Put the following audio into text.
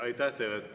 Aitäh teile!